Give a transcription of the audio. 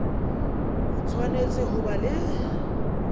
o tshwanetse ho ba le